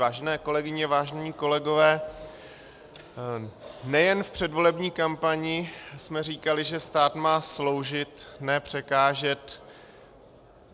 Vážené kolegyně, vážení kolegové, nejen v předvolební kampani jsme říkali, že stát má sloužit, ne překážet.